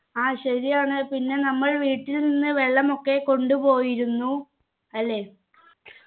ആ ശരിയാണ് പിന്നെ നമ്മൾ വീട്ടിൽ നിന്ന് വെള്ളമൊക്കെ കൊണ്ട് പോയിരുന്നു അല്ലെ